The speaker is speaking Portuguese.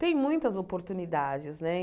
Tem muitas oportunidades, né?